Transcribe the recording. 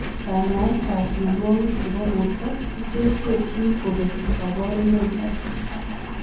Kanyaet ap mionwogik chepo portoo koterterchin kopee kaparunoik ak